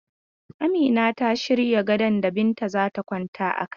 Amina ta shirya gadon da Binta za ta kwana a kai.